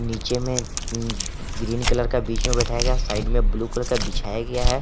नीचे में green green colour का बीच में बैठाया गया साइड में ब्लू कलर का बिछाया गया है।